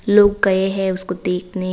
लोग गए हैं उसको देखने।